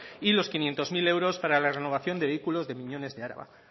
y los quinientos mil euros para la renovación de vehículos de miñones de araba